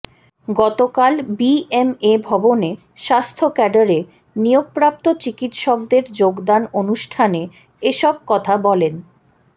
গতকাল বিএমএ ভবনে স্বাস্থ্য ক্যাডারে নিয়োগপ্রাপ্ত চিকিৎসকদের যোগদান অনুষ্ঠানে এসব কথা বলেন